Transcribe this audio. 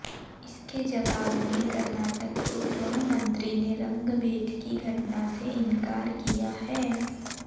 इसके जवाब में कर्नाटक के गृहमंत्री ने रंगभेद की घटना से इनकार किया है